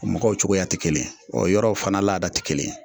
O mɔgɔw cogoya te kelen ye ɔ yɔrɔ fana laada ti kelen ye